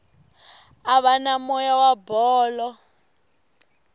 ava na moya wa bolo